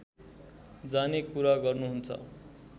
जाने कुरा गर्नुहुन्छ